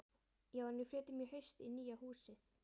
Já, en við flytjum í haust í nýja húsið.